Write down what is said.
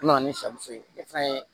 U nana ni sari so ye fɛn ye